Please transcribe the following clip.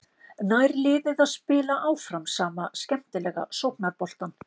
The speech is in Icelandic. Nær liðið að spila áfram sama skemmtilega sóknarboltann?